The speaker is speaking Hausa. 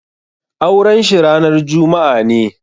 Auren shi ranar juma'a ne.